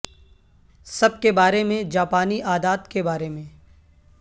سب کے بارے میں جاپانی عادات کے بارے میں